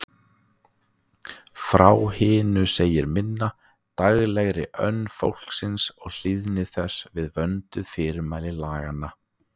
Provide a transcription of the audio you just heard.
Frá hinu segir minna: daglegri önn fólksins og hlýðni þess við vönduð fyrirmæli laganna.